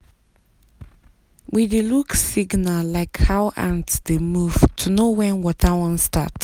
we dey look signal like how ant dey move to know when water wan start.